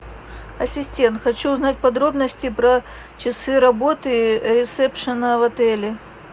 ассистент хочу узнать подробности про часы работы ресепшена в отеле